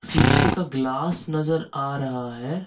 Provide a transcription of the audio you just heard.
शीशे का ग्लास नजर आ रहा है।